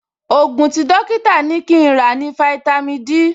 Ògùn tí dọ́kítà ní kí n rà ní fáítámì Dí